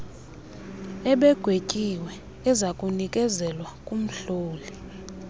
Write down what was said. ebegwetyiwe ezakunikezelwa kumhloli